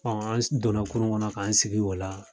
Hɔn an donna kunun kɔnɔ k'an sigi o la.